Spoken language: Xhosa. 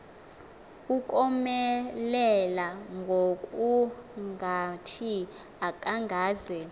ukomelela ngokungathi akazange